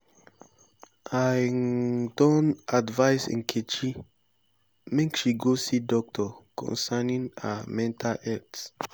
i um don advice nkechi make she go see doctor concerning her mental health